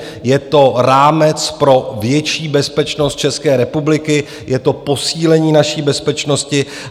Je to rámec pro větší bezpečnost České republiky, je to posílení naší bezpečnosti.